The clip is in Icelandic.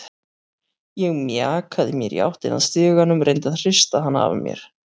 Ég mjakaði mér í áttina að stiganum, reyndi að hrista hana af mér.